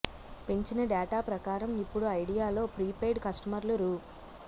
పెంచిన డేటా ప్రకారం ఇప్పుడు ఐడియాలో ప్రీపెయిడ్ కస్టమర్లు రూ